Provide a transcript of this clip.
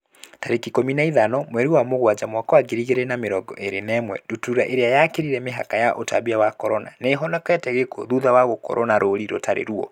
Tarĩki ikũmi na ithano mweri wa Mũgwanja mwaka wa ngiri igĩrĩ na mĩrongo ĩrĩ na ĩmwe, ndutura ĩrĩa yakĩrire mĩhaka ya ũtambia wa Corona, nĩihonokete gĩkuo thutha wa gũkorwo na rũri rũtari ruo